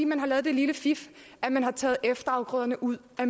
man har lavet det lille fif at man har taget efterafgrøderne ud af